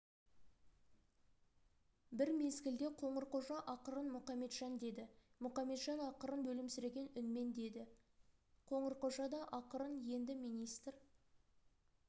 бір мезгілде қоңырқожа ақырын мұқаметжан деді мұқаметжан ақырын өлімсіреген үнмен деді қоңырқожа да ақырын енді министр